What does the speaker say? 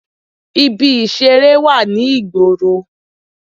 Ibi ìseré wà ní ìgboro